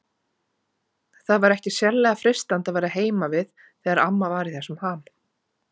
Það var ekki sérlega freistandi að vera heima við þegar amma var í þessum ham.